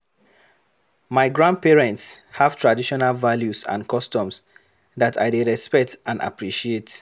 My grandparents have traditional values and customs that I dey respect and appreciate.